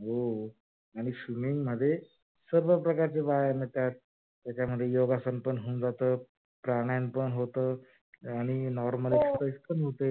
हो आणि swimming मध्ये सर्व प्रकारचे व्यायाम येतात. त्याच्यामध्ये योगासन पण होऊन जात प्राणायम पण होत आणि normal exercise पण होते.